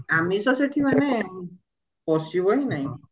ଆମିଷ ସେଠି ମାନେ ପଶିବା ହିଁ ନାହିଁ